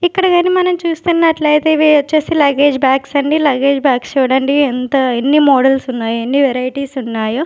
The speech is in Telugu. ఇక్కడ గాని మనం చూస్తున్నట్లయితే ఇవి వచ్చేసి లగేజ్ బ్యాగ్స్ అండి లగేజ్ బ్యాగ్స్ చూడండి ఎంత ఎన్ని మోడల్స్ ఉన్నాయో ఎన్ని వెరైటీస్ ఉన్నాయో.